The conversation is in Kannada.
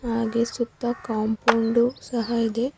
ಹಾಗೆ ಸುತ್ತ ಕಾಂಪೌಂಡು ಸಹ ಇದೆ.